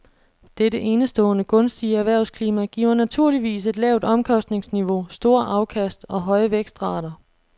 Dette enestående gunstige erhvervsklima giver naturligvis et lavt omkostningsniveau, store afkast og høje vækstrater.